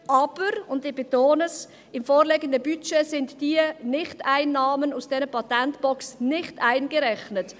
Aber – dies möchte ich betonen – im vorliegenden Budget sind diese Nicht-Einnahmen aus der Patentbox nicht eingerechnet.